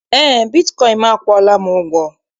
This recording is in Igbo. Eé, bitkọịn m akwụọla m ụgwọ.